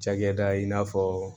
Cakɛda in i n'a fɔ